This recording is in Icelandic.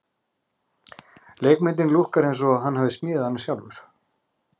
Leikmyndin lúkkar eins og hann hafi smíðað hana sjálfur.